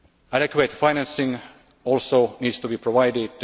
Adequate financing also needs to be provided.